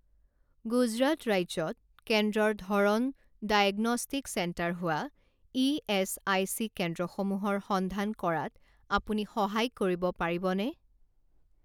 গুজৰাট ৰাজ্যত কেন্দ্ৰৰ ধৰণ ডায়েগনষ্টিক চেণ্টাৰ হোৱা ইএচআইচি কেন্দ্ৰসমূহৰ সন্ধান কৰাত আপুনি সহায় কৰিব পাৰিবনে?